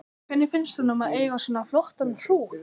Hvernig finnst honum að eiga svona flottan hrút?